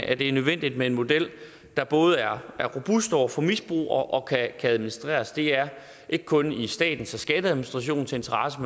at det er nødvendigt med en model der både er robust over for misbrug og kan administreres det er ikke kun i statens og skatteadministrationens interesse